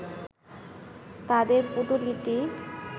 তাদের পুঁটুলিটি